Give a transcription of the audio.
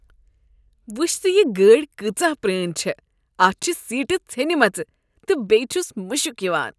وچھ تہٕ یہ گٲڑۍ کٲژاہ پرٛٲنۍ چھےٚ۔ اتھ چھےٚ سیٖٹہٕ ژھیٚنمژٕ تہٕ بیٚیہ چھس مشک یوان۔